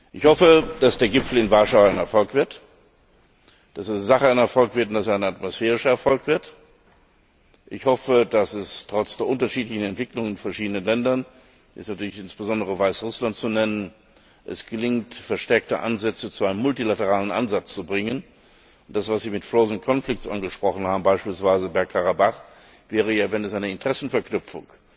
Ich hoffe, dass der Gipfel in Warschau in der Sache ein Erfolg wird und dass er ein atmosphärischer Erfolg wird. Ich hoffe, dass es trotz der unterschiedlichen Entwicklungen in den verschiedenen Ländern da ist natürlich insbesondere Belarus zu nennen gelingt, verstärkte Ansätze zu einem multilateralen Ansatz zu bringen, und dass was Sie mit frozen conflicts angesprochen haben, beispielsweise Berg Karabach wenn es eine Interessenverknüpfung